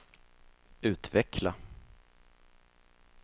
utveckla